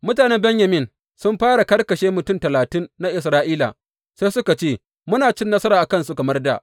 Mutanen Benyamin sun fara karkashe mutum talatin na Isra’ila, sai suka ce, Muna cin nasara a kansu kamar dā.